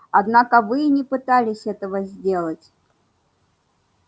однако вы и не пытались этого сделать